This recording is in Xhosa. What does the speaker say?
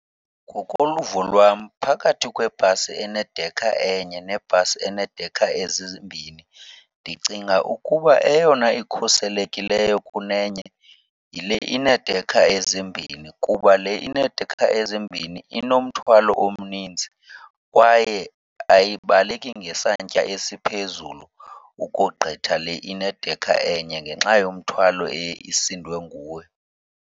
Ngokoluvo lwam phakathi kwebhasi enedekha enye nebhasi eneedekha ezimbini, ndicinga ukuba eyona ikhuselekileyo kunenye yile ineedekha ezimbini. Kuba le ineedekha ezimbini inomthwalo omninzi kwaye ayibalekeki ngesantya esiphezulu ukogqitha le inedekha enye ngenxa yomthwalo eye isindwe nguwo.